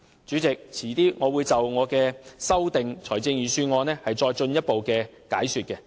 主席，稍後我會就我的修正案作進一步解說。